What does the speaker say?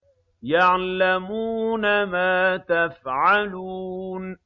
يَعْلَمُونَ مَا تَفْعَلُونَ